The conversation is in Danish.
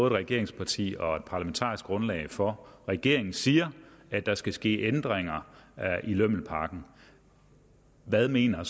et regeringsparti og er parlamentarisk grundlag for regeringen siger at der skal ske ændringer i lømmelpakken hvad mener